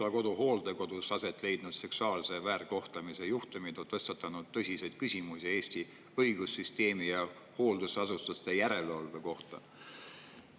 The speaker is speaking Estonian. Pihlakodu hooldekodudes aset leidnud seksuaalse väärkohtlemise juhtumid on tõstatanud tõsiseid küsimusi Eesti õigussüsteemi ja hooldusasutuste järelevalve kohta.